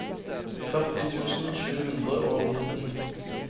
førti tusen sju hundre og nitten